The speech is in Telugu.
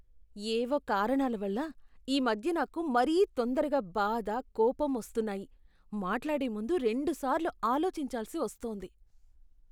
ఏవో కారణాల వల్ల, ఈ మధ్య నాకు మరీ తొందరగా బాధ, కోపం వస్తున్నాయి, మాట్లాడే ముందు రెండుసార్లు ఆలోచించాల్సి వస్తోంది.